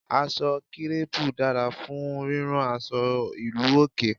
Aṣọ kírẹ́pù dára fún rírán aṣọ ìlú òkè.